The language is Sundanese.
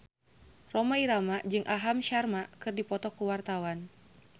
Rhoma Irama jeung Aham Sharma keur dipoto ku wartawan